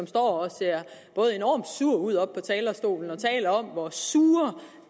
står og ser enormt sur ud oppe på talerstolen og taler om hvor surt